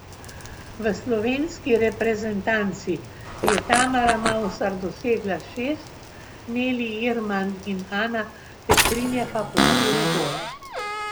V slovenski reprezentanci je Tamara Mavsar dosegla šest, Neli Irman in Ana Petrinja pa po štiri gole.